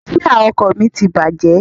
Jia ọkọ̀ mi ti bàjẹ́